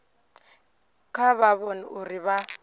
kha vha vhone uri vha